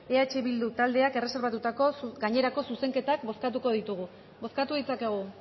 eh bildu taldeak erreserbatutako gainerako zuzenketak bozkatuko ditugu bozkatu ditzakegu